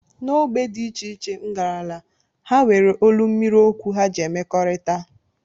N'ógbè dị iche iche, m garala, ha nwere olu mmiri okwu ha ji emekọrịta